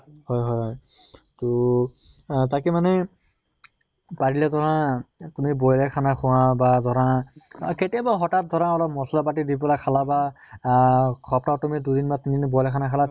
হয় হয় হয় তহ তাকে মানে পাৰিলে ধৰা তুমি boil য়ে খানা খোৱা বা ধৰা কেতিয়াবা হঠাৎ ধৰা অলপ মছলা পাতি দি পালে খালা বা আহ সিপ্তাহত তুমি দুদিন বা তিনিদিন boil খানা খালা